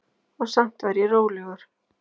Og samt var ég rólegur.